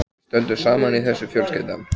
Við stöndum saman í þessu fjölskyldan.